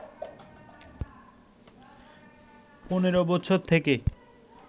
১৫ বছর থেকে